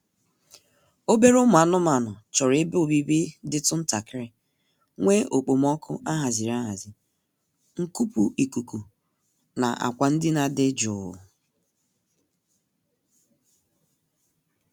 Obere ụmụ anụmaanụ chọrọ ebe obibi dịtụ ntakịrị, nwee okpomọọkụ a haziri ahazi, nkupu ikuku na akwa ndina dị jụụ